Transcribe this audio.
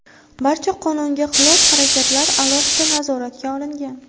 Barcha qonunga xilof harakatlar alohida nazoratga olingan.